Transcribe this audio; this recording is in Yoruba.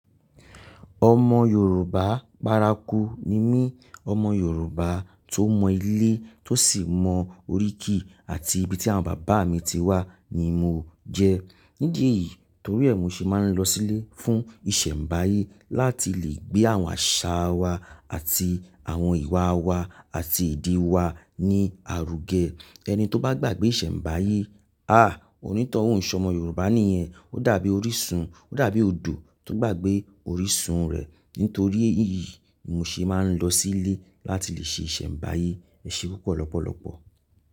Ọmọ Yorùbá párakú ni mí. Ọmọ Yorùbá tó mọ ilé, tó sì mọ oríkì àti ibi tí àwọn bàbá mi ti wá ni mo jẹ́. Nídìí eyìí torí è mo ṣe máa ń lọ sílé fún ìṣẹ̀mbáyé láti lè gbé àwọn àṣà wa àti àwọn ìwà wa àti ìdí wa ní àrúgẹ. Ẹni tó bá gbàgbé ìṣẹ̀mbáyé, ah! Onítọ̀hún ìṣọmọ Yorùbá nìyẹn. Ó dàbí orísun, ó dàbí odò tó gbàgbé orísun rẹ̀. Nítorí èyí, mo ṣe máa ń lọ sílé láti lè ṣe ìṣẹ̀mbáyé. Ẹ ṣé pupọ̀ lọ́pọ̀lọpọ̀.